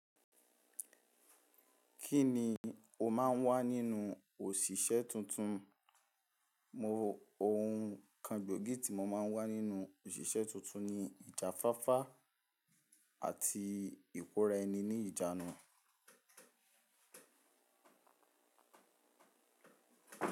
Kí ni o máa ń wá nínú òṣìṣẹ́ tuntun? Mo ohun kan gbòógì tí mo máa ń wá nínú òṣìṣẹ́ tuntun ni ìjafáfá àti ìkóra ẹni ní ìjánu.